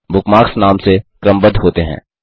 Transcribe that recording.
bookmarks नाम से क्रमबद्ध होते हैं